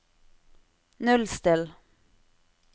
nullstill